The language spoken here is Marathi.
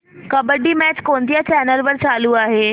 कबड्डी मॅच कोणत्या चॅनल वर चालू आहे